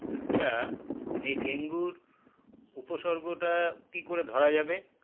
আচ্ছা এই ডেঙ্গুর উপসর্গটা কি করে ধরা যাবে